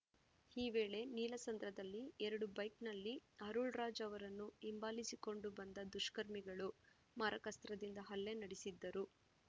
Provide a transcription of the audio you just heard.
ಈ ವೇಳೆ ನೀಲಸಂದ್ರದಲ್ಲಿ ಎರಡು ಬೈಕ್‌ನಲ್ಲಿ ಅರುಳ್‌ ರಾಜ್‌ಅವರನ್ನು ಹಿಂಬಾಲಿಸಿಕೊಂಡು ಬಂದ ದುಷ್ಕರ್ಮಿಗಳು ಮಾರಕಾಸ್ತ್ರದಿಂದ ಹಲ್ಲೆ ನಡೆಸಿದ್ದರು